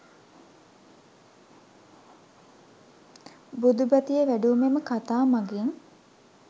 බුදු බැතිය වැඩු මෙම කතා මගින්